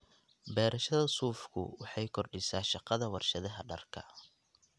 Beerashada suufku waxay kordhisaa shaqada warshadaha dharka.